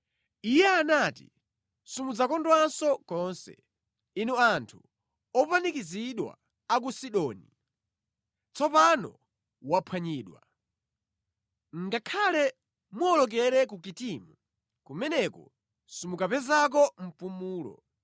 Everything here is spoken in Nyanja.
Iye anati, “Simudzakondwanso konse, inu anthu opanikizidwa a ku Sidoni, tsopano wamphwanyidwa! “Ngakhale muwolokere ku Kitimu, kumeneko simukapezako mpumulo.”